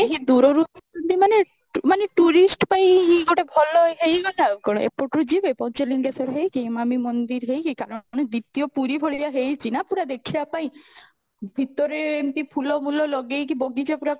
ନାହିଁ ଦୂର ରୁ ମାନେ ମାନେ tourist ପାଇଁ ଭଲ ହେଇଗଲା ଆଉ କଣ ଏପଟୁ ଯିବେ ପଞ୍ଚଲିଙ୍ଗ ହେଇକି ମନ୍ଦିର ହେଇକି କାରଣ ଦ୍ବୀତ୍ୟ ପୁରୀ ଭଳିଆ ହେଇଚି ନା ପୁରା ଦେଖିବା ପାଇଁ, ଭିତରେ ଏମିତି ଫୁଲ ମୁଲ ଲାଜେଇକି ବଗିଚା ପୁରା କରିକୀ